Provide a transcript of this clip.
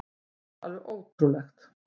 Þetta er alveg ótrúlegt.